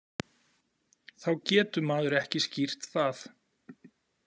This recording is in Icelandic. Þá getur maður ekki skýrt það.